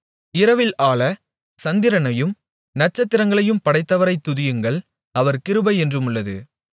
இரவில் ஆளச் சந்திரனையும் நட்சத்திரங்களையும் படைத்தவரைத் துதியுங்கள் அவர் கிருபை என்றுமுள்ளது